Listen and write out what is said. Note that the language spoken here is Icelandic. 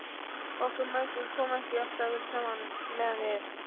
Okkur mæðgum kom ekki alltaf vel saman meðan við